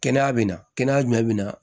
Kɛnɛya bɛ na kɛnɛya jumɛn bɛ na